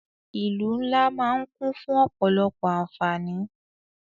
Ìlú ńlá máà ń kún fún ọ̀pọ̀lọpọ̀ àǹfáání.